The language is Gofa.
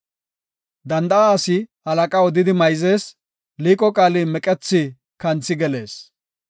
Danda7a asi halaqa odidi mayzees; liiqo qaali meqethi kanthi gelees.